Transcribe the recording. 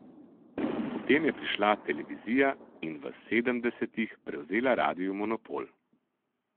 Potem je prišla televizija in v sedemdesetih prevzela radiu monopol.